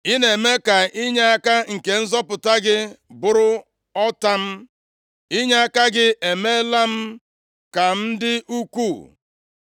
Ị na-eme ka inyeaka nke nzọpụta gị bụrụ ọta m, inyeaka gị emeela m ka m dị ukwuu.